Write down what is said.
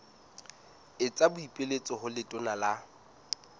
etsa boipiletso ho letona la